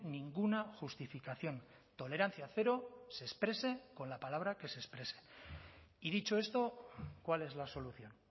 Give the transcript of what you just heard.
ninguna justificación tolerancia cero se exprese con la palabra que se exprese y dicho esto cuál es la solución